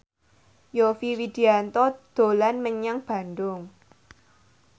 Yovie Widianto dolan menyang Bandung